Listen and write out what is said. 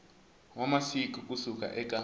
wa masiku ku suka eka